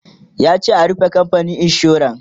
yace a "rufe kamfanin insuran!"